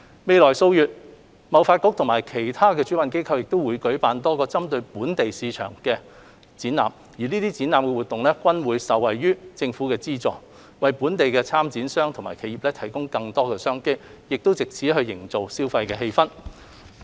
未來數月，貿發局和其他主辦機構會舉辦多個針對本地市場的展覽，這些展覽活動均會受惠於政府的資助，為本地參展商及企業提供更多商機，藉此營造消費氣氛。